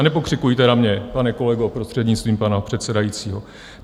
A nepokřikujte na mě, pane kolego, prostřednictvím pana předsedajícího.